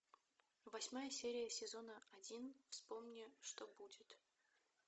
восьмая серия сезона один вспомни что будет